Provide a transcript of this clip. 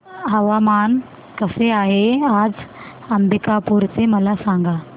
हवामान कसे आहे आज अंबिकापूर चे मला सांगा